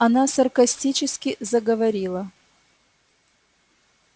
она саркастически заговорила